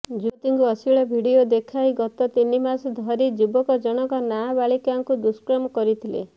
ଯୁବତୀଙ୍କୁ ଅଶ୍ଳିଳ ଭିଡିଓ ଦେଖାଇ ଗତ ତିନି ମାସ ଧରି ଯୁବକ ଜଣଙ୍କ ନାବାଳିକାଙ୍କୁ ଦୁଷ୍କର୍ମ କରିଥିଲେ